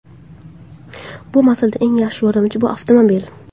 Bu masalada eng yaxshi yordamchi bu avtomobil.